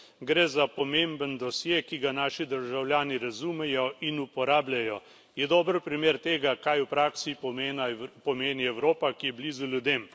Gre za pomemben dosje, ki ga naši državljani razumejo in uporabljajo, je dober primer tega, kaj v praksi pomeni Evropa, ki je blizu ljudem.